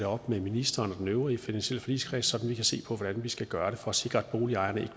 op med ministeren og den øvrige finansielle forligskreds sådan kan se på hvordan vi skal gøre det for at sikre at boligejerne